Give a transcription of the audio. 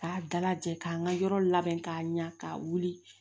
K'a dalajɛ k'an ka yɔrɔ labɛn k'a ɲa k'a wuli